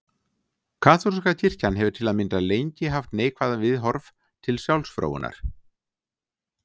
Kaþólska kirkjan hefur til að mynda lengi haft neikvæð viðhorf til sjálfsfróunar.